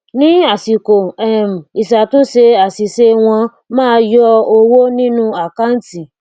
ni asiko um isatunse asise won maa yo owo ninu akanti